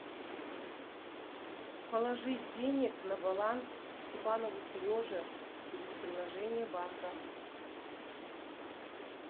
положить денег на баланс степанову сереже через приложение банка